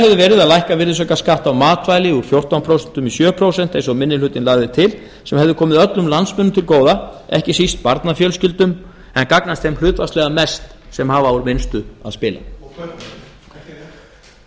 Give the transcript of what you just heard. verið að lækka virðisaukaskatt á matvæli úr fjórtán prósent í sjö prósent eins og fyrsti minni hluti lagði til sem hefði komið öllum landsmönnum til góða ekki síst barnafjölskyldum en gagnast þeim hlutfallslega mest sem hafa úr minnstu að spila og kaupmönnum